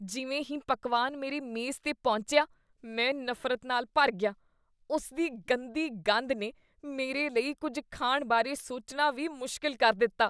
ਜਿਵੇਂ ਹੀ ਪਕਵਾਨ ਮੇਰੇ ਮੇਜ਼ 'ਤੇ ਪਹੁੰਚਿਆ, ਮੈਂ ਨਫ਼ਰਤ ਨਾਲ ਭਰ ਗਿਆ, ਉਸਦੀ ਗੰਦੀ ਗੰਧ ਨੇ ਮੇਰੇ ਲਈ ਕੁੱਝ ਖਾਣ ਬਾਰੇ ਸੋਚਣਾ ਵੀ ਮੁਸ਼ਕਲ ਕਰ ਦਿੱਤਾ..